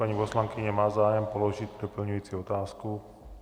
Paní poslankyně má zájem položit doplňující otázku?